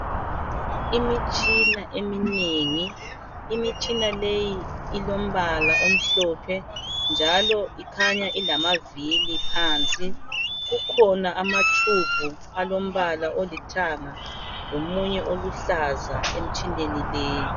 Imitshina eminengi, imitshina leyi ilombala omhlophe njalo ikhanya ilamavili phansi kukhona ama tube alombala olithanga lomunye oluhlaza emtshineni leyi.